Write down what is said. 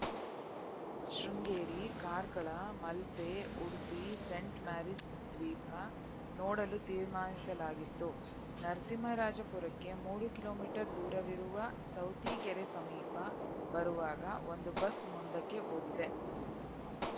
Sringeri ಕಾರ್ಕಳಮಲ್ಪೆ Udupi scent Mary's ದ್ವೀಪ ನೋಡಲು ತೀರ್ಮಾನಿಸಲಾಗಿತ್ತು ನರಸಿಂಹರಾಜಪುರಕ್ಕೆ ಮೂರು ಕಿಲೋ ಮೀಟರ್ ದೂರವಿರುವ ಸೌತಿಕೆರೆ ಸಮೀಪ ಬರುವಾಗ ಒಂದು ಬಸ್‌ ಮುಂದಕ್ಕೆ ಹೋಗಿದೆ